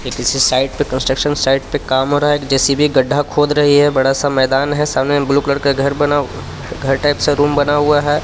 ये किसी साइट पे कंस्ट्रक्शन साइट पे काम हो रहा हे जे_सी_बी गड्ढा खोद रही हे बड़ासा मैदान हे सामने ब्लु कलर का घर बना घर टाइप सा रूम बना हुआ हे.